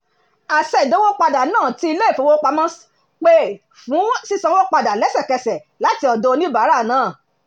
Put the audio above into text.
àṣẹ ìdówópadà náà tí ilé-ìfowópamọ́ ṣ pè fún sísanwó padà lẹ́sẹ̀kẹsẹ̀ láti ọ̀dọ̀ oníbàárà náà